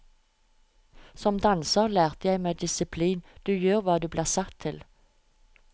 Som danser lærte jeg meg disiplin, du gjør hva du blir satt til.